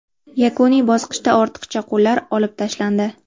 Yakuniy bosqichda ortiqcha qo‘llar olib tashlandi.